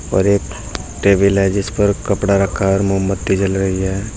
और एक स्टेबलाइजेश पर कपड़ा रखा और मोमबत्ती जल रही है।